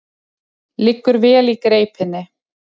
Liggur vel í greipinni.